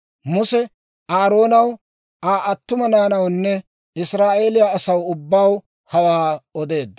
Muse Aaroonaw, Aa attuma naanawunne Israa'eeliyaa asaw ubbaw hawaa odeedda.